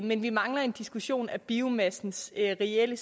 men vi mangler en diskussion af biomassens reelle